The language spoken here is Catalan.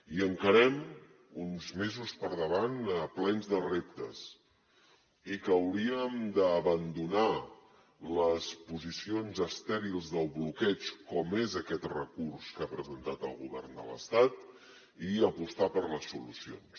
i encarem uns mesos per davant plens de reptes i que hauríem d’abandonar les posicions estèrils del bloqueig com és aquest recurs que ha presentat el govern de l’estat i apostar per les solucions